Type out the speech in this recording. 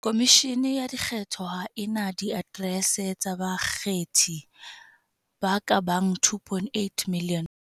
"Khomishene ya Dikgetho ha e na diaterese tsa bakgethi ba ka bang 2.8 milione."